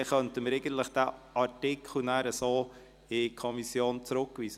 Dann könnten wir nachher den Artikel so an die Kommission zurückweisen.